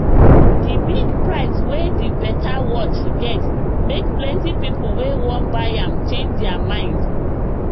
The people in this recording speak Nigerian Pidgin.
the big price wey the better watch get make plenty people wey wan buy am change their mind